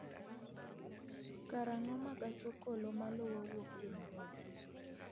karang'o ma gach okolo maluwo wuok dhi Nairobi